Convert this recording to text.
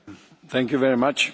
Thank you very much.